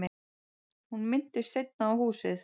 Hún minntist seinna á húsið.